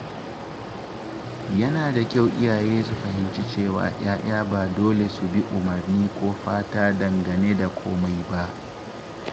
Yana da kyau iyaye su fahimci cewa ‘ya’ya ba dole su bi umarni ko fata dangane da komai ba.